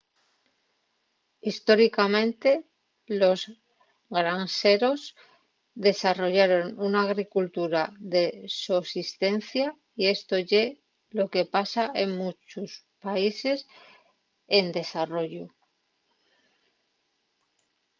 históricamente los granxeros desarrollaron una agricultura de sosistencia y esto ye lo que pasa en munchos países en desarrollu